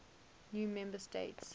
new member states